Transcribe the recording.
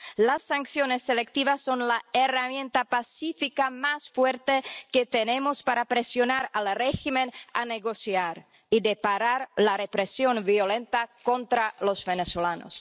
Las sanciones selectivas son la herramienta pacífica más fuerte que tenemos para presionar al régimen para negociar y parar la represión violenta contra los venezolanos.